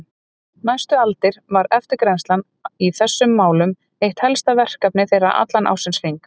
Næstu aldir var eftirgrennslan í þessum málum eitt helsta verkefni þeirra allan ársins hring.